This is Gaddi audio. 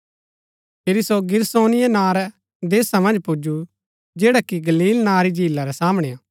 फिरी सो गिरासेनियों नां रै देशा मन्ज पुजु जैडा कि गलील नां री झीला रै सामणै हा